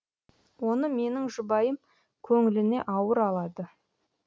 оны менің жұбайым көңіліне ауыр алады